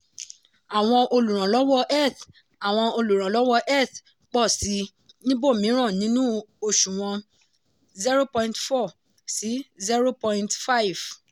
àwọn olùrànlọ́wọ́ eth àwọn olùrànlọ́wọ́ eth pọ̀ sí i níbòmíràn nínú òṣùwọ̀n 0.4 sí 0.5.